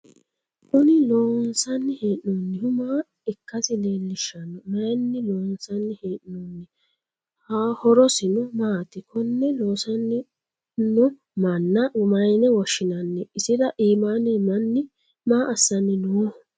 Kunni loonsanni hee'noonnihu maa ikasi leelishano? Mayinni loonsanni hee'noonni? Horosino maati? Konne loosano manna mayinne woshinnanni? Isira iimaanni manni maa assanni Nooho?